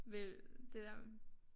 Vel det der